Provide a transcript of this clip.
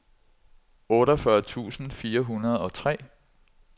otteogfyrre tusind fire hundrede og tre